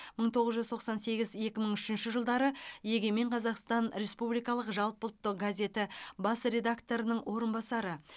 мың тоғыз жүз тоқсан сегіз екі мың үшінші жылдары егемен қазақстан республикалық жалпыұлттық газеті бас редакторының орынбасары